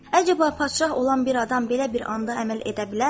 Əcaba, padşah olan bir adam belə bir anda əməl edə bilərmi?